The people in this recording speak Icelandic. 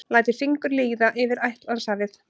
Lætur fingur líða yfir Atlantshafið.